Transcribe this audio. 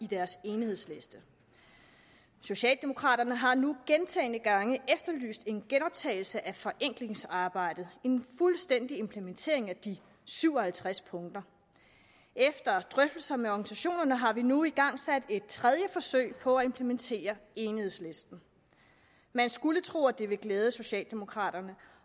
deres enighedsliste socialdemokraterne har nu gentagne gange efterlyst en genoptagelse af forenklingsarbejdet en fuldstændig implementering af de syv og halvtreds punkter efter drøftelser med organisationerne har vi nu igangsat et tredje forsøg på at implementere enighedslisten man skulle tro at det ville glæde socialdemokraterne